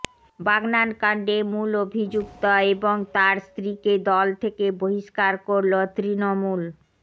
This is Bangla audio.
বাগনান কান্ডে মূল অভিযুক্ত এবং তাঁর স্ত্রীকে দল থেকে বহিস্কার করল তৃণমূল